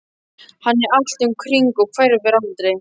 Hann er allt um kring og hverfur aldrei.